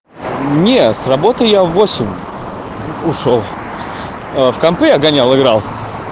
не с работы я в восемь ушёл в компьютеры я гонял играл